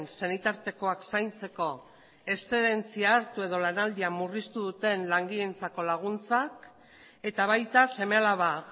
senitartekoak zaintzeko exzedentzia hartu edo lanaldia murriztu duten langileentzako laguntzak eta baita seme alaba